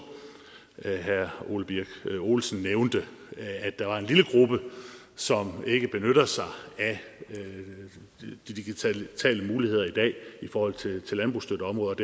herre ole birk olesen nævnte at der var en lille gruppe som ikke benytter sig af de digitale muligheder i dag i forhold til landbrugsstøtteområdet